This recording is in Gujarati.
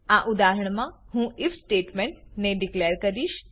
આ ઉદાહરણ મા હું આઇએફ સ્ટેટમેન્ટ ને ડીકલેર કરીશ